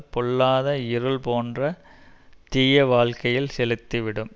பொல்லாத இருள் போன்ற தீய வாழ்க்கையில் செலுத்தி விடும்